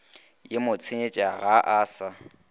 ye motsenyetša ga a sa